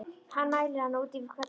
Hann mælir hana út í hvelli.